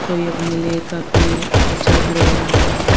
कोई अपने लिए काफी अच्छा घर बना रहा है।